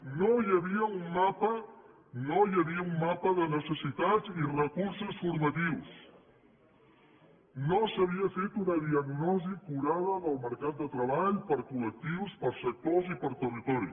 no hi havia un mapa no hi havia un mapa de necessitats i recursos formatius no s’havia fet una diagnosi acurada del mercat de treball per col·lectiu per sectors i per territori